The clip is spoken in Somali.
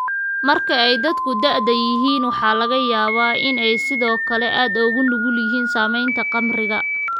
Marka ay dadku da'da yihiin, waxaa laga yaabaa inay sidoo kale aad ugu nugul yihiin saameynta khamriga.